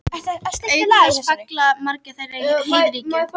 Auk þess falla margir þeirra í heiðríkju.